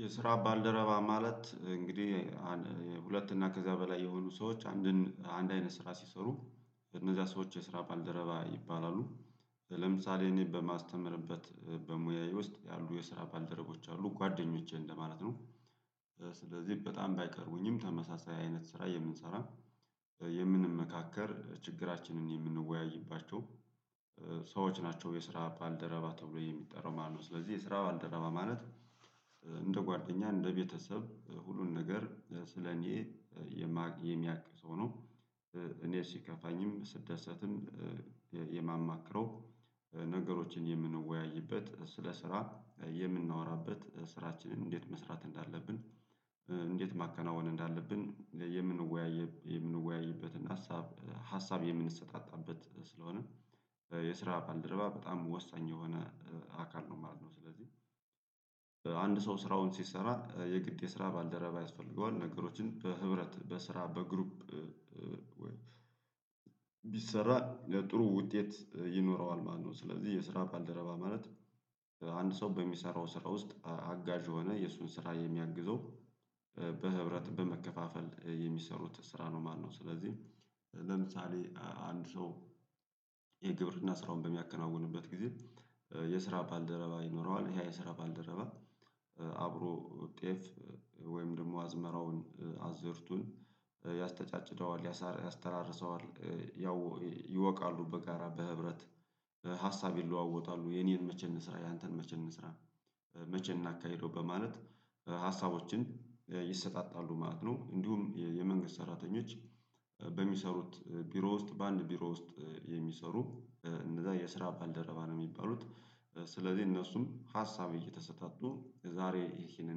የስራ ባልደረባ ማለት እንግዲህ ሁለት እና ከዚያ በላይ የሆኑ ሰዎች አንድን አንድ አይነት ስራ ሲሰሩ እነዚያ ሰዎች የስራ ባልደረባ ይባላሉ። ለምሳሌ እኔ በማስተምርበት በሙያዬ ውስጥ ያሉ የስራ ባልደረቦች አሉ ጓደኞቼ እንደማለት ነው። ስለዚህ በጣም ባይቀርቡኝም ተመሳሳይ አይነት ስራ የምንሰራ የምንመካከር ችግራችንን የምንወያይባቸው ሰዎች ናቸው የስራ ባልደረባ ተብሎ የሚጠራው ማለት ነው። ስለዚህ የስራ ባልደረባ ማለት እንደ ጓደኛ እንደ ቤተሰብ ሁሉን ነገር ስለ እኔ የሚያቅ ሰው ነው። እኔ ሲከፋኝም ስደሰትም የማማክረው ነገሮችን የምንወያይበት ስለ ስራ የምናወራበት ስራችንን እንዴት መስራት እንዳለብን እንዴት ማከናወን እንዳለብን የምንወያይ የምንወያይበትን ሀሳብ ሀሳብ የምንሰጣጣበት ስለሆነ። የስራ ባልደረባ በጣም ወሳኝ የሆነ አካል ነው ማለት ነው። ስለዚህ አንድ ሰው ስራውን ሲሰራ የግድ የስራ ባልደረባ ያስፈልገዋል ነገሮችን በህብረት በስራ በግሩፕ ቢሰራ ለጥሩ ውጤት ይኖረዋል። ማነው ስለዚህ የስራ ባልደረባ ማለት አንድ ሰው በሚሰራው ስራ ውስጥ አጋዥ ሆነ የእሱን ስራ የሚያግዘው በህብረት በመከፋፈል የሚሰሩት ስራ ነው። ማነው ስለዚህ ለምሳሌ አንድ ሰው የግብርና ስራውን በሚያከናውንበት ጊዜ የስራ ባልደረባ ይኖረዋል ይሄ የስራ ባልደረባ አብሮ ጤፍ ወይም ደግሞ አዝመራውን አዝእርቱን ያስተጫጭደዋል ያስተራርሰዋል ያው ይወቃሉ በጋራ በህብረት ሀሳብ ይለዋወጣሉ የኔን መቼ እንስራ ያንተን መቼ እንስራ መቼ እናካሂደው በማለት ሀሳቦችን ይሰጣጣሉ ማለት ነው። እንዲሁም የመንግስት ሰራተኞች በሚሰሩት ቢሮ ውስጥ በአንድ ቢሮ ውስጥ የሚሰሩ እንደዛ የስራ ባልደረባ ነው የሚባሉት። ስለዚህ እነሱም ሀሳብ እየተሰጣቱ ዛሬ ይሄንን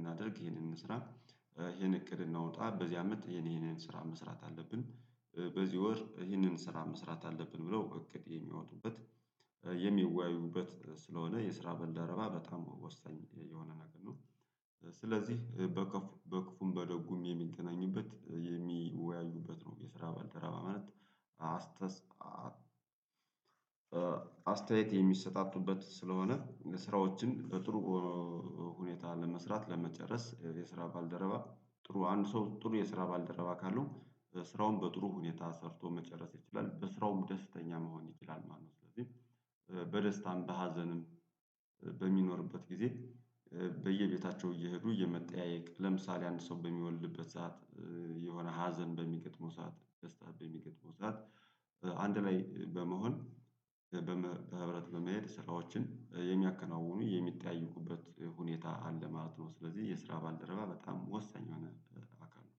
እናድርግ ይሄንን እንስራ ይሄን እቅድ እናውጣ በዚህ አመት የኔ ይሄንን ስራ መስራት አለብን በዚህ ወር ይህንን ስራ መስራት አለብን ብለው እቅድ የሚያወጡበት የሚወያዩበት ስለሆነ የስራ ባልደረባ በጣም ወሳኝ የሆነ ነገር ነው። ስለዚህ በክፉም በደጉም የሚገናኙበት የሚወያዩበት ነው የስራ ባልደረባ ማለት። አስተያየት የሚሰጣቱበት ስለሆነ ስራዎችን በጥሩ ሁኔታ ለመስራት ለመጨረስ የስራ ባልደረባ ጥሩ አንድ ሰው ጥሩ የስራ ባልደረባ ካለው ስራውን በጥሩ ሁኔታ ሰርቶ መጨረስ ይችላል በስራውም ደስተኛ መሆን ይችላል ማለት ነው። ስለዚህ በደስታም በሀዘንም በሚኖርበት ጊዜ በየቤታቸው እየሄዱ የመጠያየቅ ለምሳሌ አንድ ሰው በሚወልድበት ሰዓት የሆነ ሀዘን በሚገጥመው ሰዓት ደስታ በሚገጥመው ሰዓት አንድ ላይ በመሆን በህብረት በመሄድ ስራዎችን የሚያከናውኑ የሚጠያዩበት ሁኔታ አለ ማለት ነው። ስለዚህ የስራ ባልደረባ በጣም ወሳኝ ሆነ አካል ነው